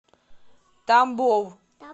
тамбов